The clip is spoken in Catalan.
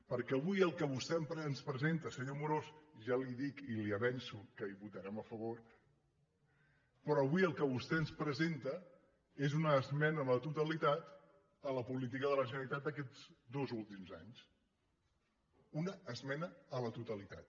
perquè avui el que vostè ens presenta senyor amorós ja li dic i li avanço que hi votarem a favor però avui el que vostè ens presenta és una esmena a la totalitat a la política de la generalitat d’aquests dos últims anys una esmena a la totalitat